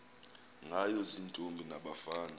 ngayo ziintombi nabafana